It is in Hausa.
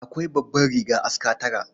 Akwai babbar riga aska tara.